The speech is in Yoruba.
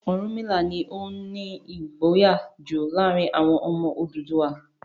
Ọ̀rúnmìlà ni ó ní ìgboyà jù láàárin àwọn ọmọ Odùduwà.